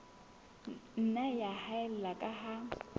nna ya haella ka ha